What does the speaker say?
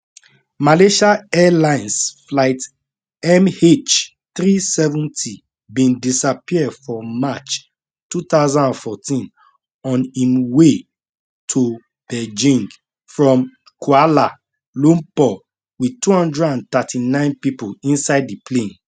malaysia airlines flight mh370 bin disappear for march 2014 on im way to beijing from kuala lumpur wit 239 pipo inside di plane